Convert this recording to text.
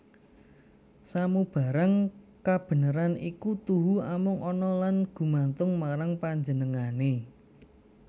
Samubarang kabeneran iku tuhu amung ana lan gumantung marang Panjenengané